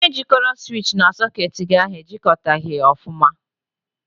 Onye jịkọrọ siwichi na sọketi gị ahụ e jịkọtaghị ya ọfụma.